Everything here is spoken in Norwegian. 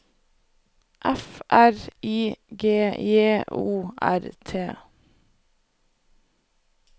F R I G J O R T